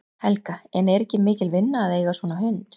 Helga: En er ekki mikil vinna að eiga svona hund?